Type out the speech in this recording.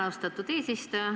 Austatud eesistuja!